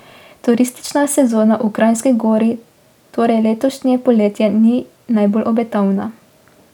Turistična sezona v Kranjski Gori torej letošnje poletje ni najbolj obetavna.